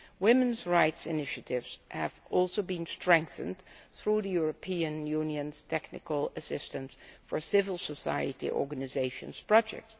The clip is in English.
Women's rights initiatives have also been strengthened through the European Union's Technical Assistance for Civil Society Organisations project.